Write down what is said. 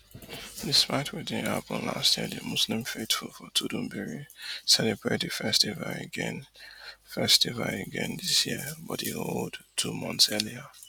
despite wetin happun last year di muslim faithful for tudunbiri celebrate di festival again festival again dis year but e hold two months earlier